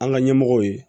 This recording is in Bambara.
An ka ɲɛmɔgɔw ye